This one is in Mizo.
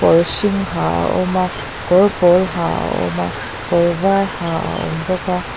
kawr hring ha a awm a kawr pawl ha a awm a kawr var ha a awm bawk a.